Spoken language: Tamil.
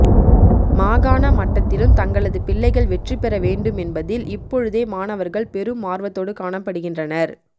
மாகாண மட்டத்திலும் தங்களது பிள்ளைகள் வெற்றிப்பெற வேண்டும் என்பதில் இப்பொழுதே மாணவர்கள் பெரும் ஆர்வத்தோடு காணப்படுகின்றனர்